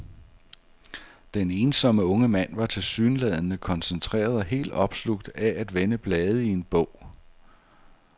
Den ensomme unge mand var tilsyneladende koncentreret og helt opslugt af at vende blade i en bog.